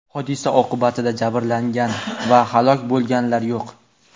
hodisa oqibatida jabrlangan va halok bo‘lganlar yo‘q.